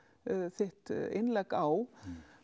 þitt innlegg á